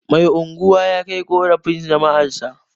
Mai unguwa ya kai ƙorafin jama'arsa